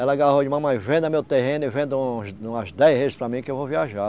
Ela agarrou mamãe, venda meu terreno e venda uns umas dez para mim que eu vou viajar.